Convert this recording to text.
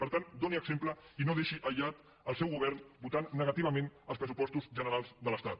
per tant doni exemple i no deixi aïllat el seu govern votant negativament els pressupostos generals de l’estat